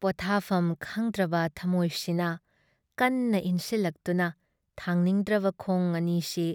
ꯄꯣꯊꯥꯐꯝ ꯈꯡꯗ꯭ꯔꯕ ꯊꯃꯣꯏ ꯁꯤꯅ ꯀꯟꯅ ꯏꯟꯁꯤꯜꯂꯛꯇꯨꯅ ꯊꯥꯡꯅꯤꯡꯗ꯭ꯔꯕ ꯈꯣꯡ ꯑꯅꯤ ꯁꯤ